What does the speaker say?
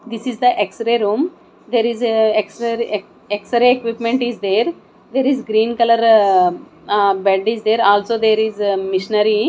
this is the x ray room there is a x re x ray equipment is there there is green colour ah bed is there also there is machinery.